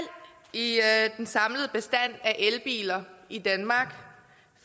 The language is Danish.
er i den samlede bestand af elbiler i danmark